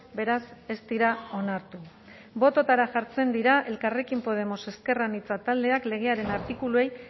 beraz ez dira onartu bototara jartzen dira elkarrekin podemos ezker anitza taldeak legearen artikuluei